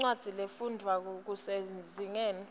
incwadzi lefundwvwako kusezingeni